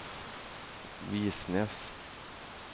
V I S N E S